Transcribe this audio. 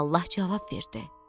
Allah cavab verdi: